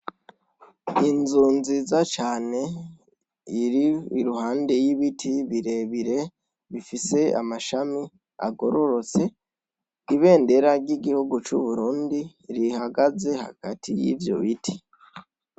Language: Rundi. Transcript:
Inzu nziza cane iri iruhande y'ibiti birebire, bifise amashami agororotse. Ibendera ry'igihugu c'Uburundi rihagaze hagati y'ivyo biti.